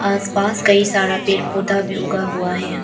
आस पास कई सारा पेड़ पौधा भी उगा हुआ है।